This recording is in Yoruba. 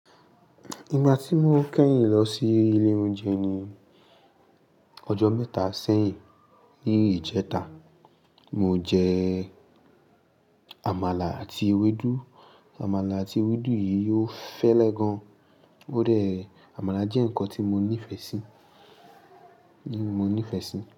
Ìgbà tí mo kẹ́yìn lọ sí ilé oúnjẹ ní ọjọ́ mẹ́ta sẹ́yìn ní ìjẹta, mo jẹ àmàlà àti ewédú. Àmàlà àti ewédú yìí yóò fẹ́lẹ́ gan. Ó dẹ̀, àmàlà jẹ́ nǹkan tí mo nífẹ̀ẹ́ sí, mo nífẹ̀ẹ́ sí.